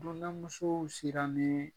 Kɔnɔnnamusow siranee